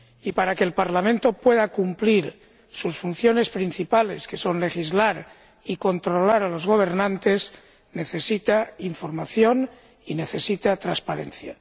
Para que el Parlamento pueda cumplir sus funciones principales, que son legislar y controlar a los gobernantes, necesita información y necesita transparencia.